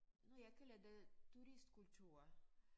Når jeg kalder det turistkultur